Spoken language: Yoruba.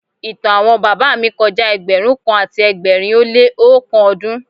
Ìtàn àwọn bàbá mi kọjá ẹgbẹ̀rún kan àti ẹgbẹ̀rin ó lé oókan ọdún.